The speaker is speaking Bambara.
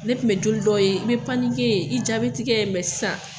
Ne tun bɛ joli dɔw ye, n bɛ panikɛ, i ja bɛ tigɛ, mɛ sisan.